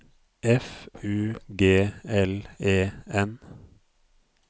F U G L E N